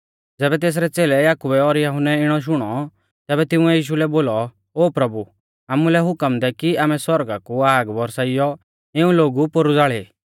ज़ैबै तेसरै च़ेलै याकुबै और यहुन्नै इणौ शुणौ तैबै तिंउऐ यीशु लै बोलौ ओ प्रभु आमुलै हुकम दै कि आमै सौरगा कु आग बरसाइयौ इऊं लोगु पोरु ज़ाल़ी